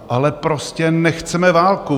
Ale prostě nechceme válku.